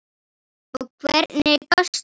Og hvernig gastu?